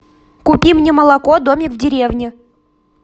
купи мне молоко домик в деревне